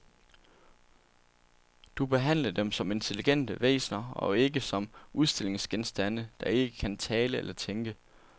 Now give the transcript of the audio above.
Du behandle dem som intelligente væsener og ikke som udstillingsgenstande, der ikke kan tale eller tænke.